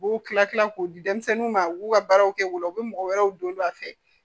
U b'u kila kila k'o di denmisɛnninw ma u b'u ka baaraw kɛ u la u bɛ mɔgɔ wɛrɛw don a fɛ